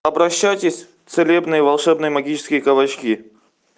обращайтесь в целебные волшебные магические кабачки